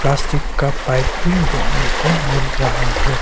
Plastic का pipe भी देखने को मिल रहा है।